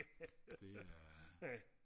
det er